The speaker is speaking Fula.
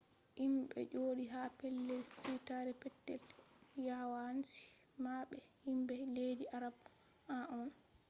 himɓe jooɗi ha pellel suitaare petel yawanci maɓɓe himɓe leddi arab en on